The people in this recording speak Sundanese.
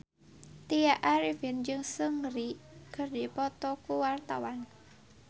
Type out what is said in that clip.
Tya Arifin jeung Seungri keur dipoto ku wartawan